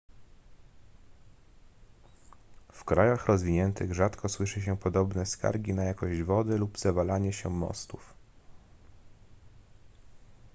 w krajach rozwiniętych rzadko słyszy się podobne skargi na jakość wody lub zawalanie się mostów